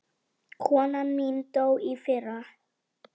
Konan mín dó í fyrra.